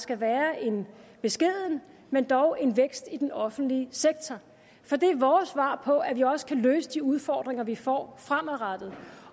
skal være en beskeden men dog en vækst i den offentlige sektor for det er vores svar på at vi også kan løse de udfordringer vi får fremadrettet